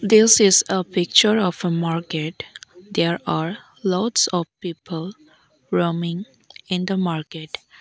This is a picture of a market there are lots of people roaming in the market.